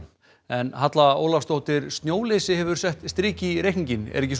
en Halla Ólafsdóttir snjóleysi hefur sett strik í reikninginn ekki